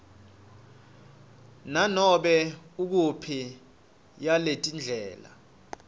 nganome nguyiphi yaletindlela